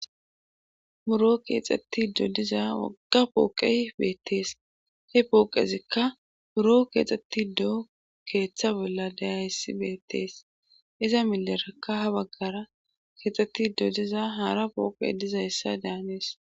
Buro keexetti dodiza wagga pooqe beettees he pooqezikka buro keexxetti doo keeththa bolla dayaissi beettees iza milerakka ha baggara keexxetti dodiza haara pooqe diza hissa daanees.